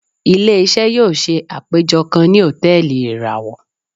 Ile-iṣẹ yóò ṣe apejọ kan ni hòtẹ́ẹ̀lì irawọ.